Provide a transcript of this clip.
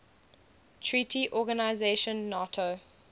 treaty organisation nato